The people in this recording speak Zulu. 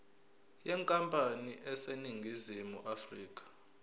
yenkampani eseningizimu afrika